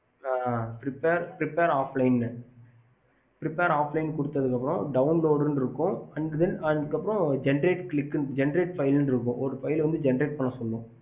preferred offline download அதுக்கு அப்புறம் Senright file இருக்கும்